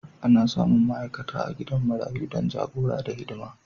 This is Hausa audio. Ana samun ma'aikata a gidan marayu don jagora da hidima.